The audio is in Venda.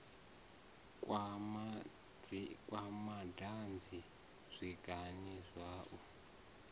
kwa madanzi zwiga zwa u